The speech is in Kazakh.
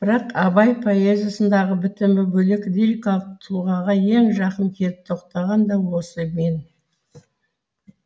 бірақ абай поэзиясындағы бітімі бөлек лирикалық тұлғаға ең жақын келіп тоқтаған да осы мен